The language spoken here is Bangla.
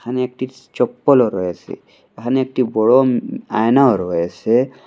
এখানে একটি চপ্পলও রয়েসে এখানে একটি বড় আয়নাও রয়েসে।